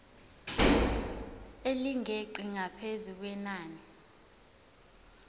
elingeqi ngaphezu kwenani